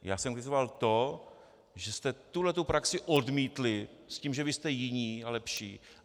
Já jsem kritizoval to, že jste tuhletu praxi odmítli s tím, že vy jste jiní a lepší.